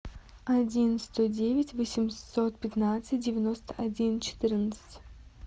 один сто девять восемьсот пятнадцать девяносто один четырнадцать